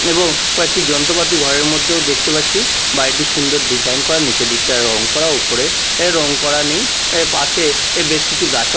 এবং কয়েকটি যন্ত্রপাতি ঘরের মধ্যেও দেখতে পাচ্চি বাড়িটি সুন্দর ডিজাইন করা নীচের দিকটা রং করা ওপরে এ রং করা নেই এর পাশে এ বেশ কিছু গাছও--